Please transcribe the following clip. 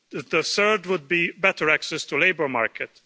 The third would be better access to the labour market.